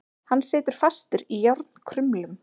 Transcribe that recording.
Hann situr fastur í járnkrumlum.